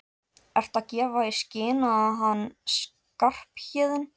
Ertu að gefa í skyn að hann Skarphéðinn.